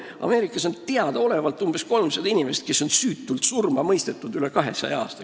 Ameerikas on teadaolevalt umbes 300 inimest süütult surma mõistetud rohkem kui 200 aasta jooksul.